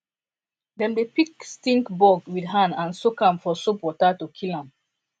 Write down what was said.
dem dey pick stink bug with hand and soak am for soap water to kill am